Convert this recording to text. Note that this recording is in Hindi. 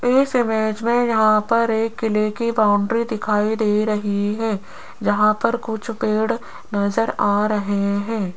इस इमेज में यहां पर एक किले की बाउंड्री दिखाई दे रही है जहां पर कुछ पेड़ नजर आ रहे हैं।